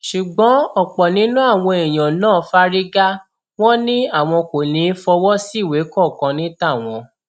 ṣùgbọn ọpọ nínú àwọn èèyàn náà fárígá wọn ni àwọn kò ní í fọwọ síwèé kankan ní tàwọn